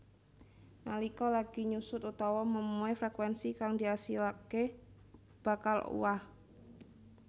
Nalika lagi nyusut utawa memuai frekuénsi kang diasilaké bakal owah